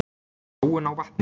Sóun á vatni.